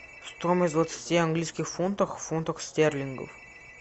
стоимость двадцати английских фунтов в фунтах стерлингов